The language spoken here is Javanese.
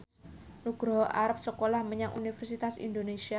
Nugroho arep sekolah menyang Universitas Indonesia